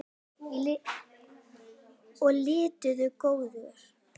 og litu góða.